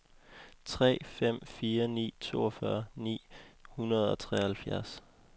tre fem fire ni toogfyrre ni hundrede og treoghalvfjerds